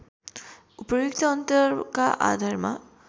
उपर्युक्त अन्तरका आधारमा